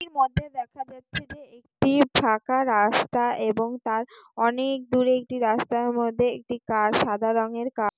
এটার মধ্যে দেখা যাচ্ছে যে একটি ফাঁকা রাস্তা এবং তার অনেক দূর একটি রাস্তার মধ্যে একটি কার সাদা রঙের কা --